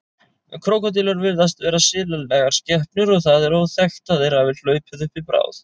Krókódílar virðast vera silalegar skepnur og það er óþekkt að þeir hafi hlaupið uppi bráð.